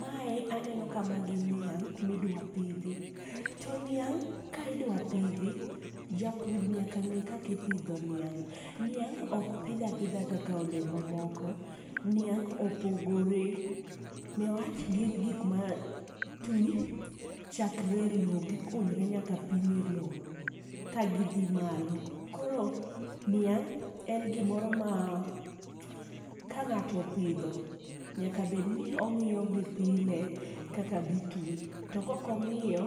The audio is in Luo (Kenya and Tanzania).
Mae aneno ka magi niang' ma idwa pidhi to niang' ka idwa pidhi japur nyaka ng'e kaka ipidho niang'. Niang ok oidh apoidga kaka olemo moko, niang opogore opogore ne wach gin gik ma ti chakre loo gi kunyre nyaka piny e loo ka gi dhi malo. Koro niang' en gi moro ma ka ng'ato opidho nyaka bed ni ong'iyo gi pile kaka gi ti. To kok ong'iyo